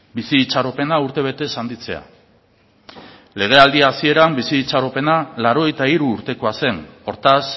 bizi itxaropena urtebetez handitzea legealdi hasieran bizi itxaropena laurogeita hiru urtekoa zen hortaz